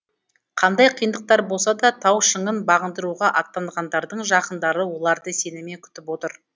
қандай қиындықтар болса да тау шыңын бағындыруға аттанғандардың жақындары оларды сеніммен күтіп отыр